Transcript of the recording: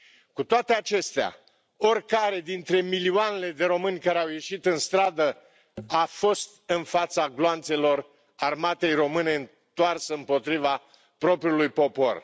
Cu toate acestea, oricare dintre milioanele de români care au ieșit în stradă a fost în fața gloanțelor Armatei române întoarse împotriva propriului popor.